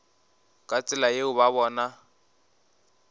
ka tsela yeo ba bona